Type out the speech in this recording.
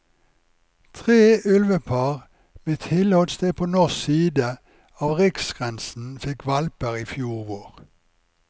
Tre ulvepar med tilholdssted på norsk side av riksgrensen fikk hvalper i fjor vår.